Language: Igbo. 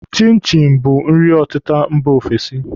Chin chin bụ nri ọtịta mba ofesi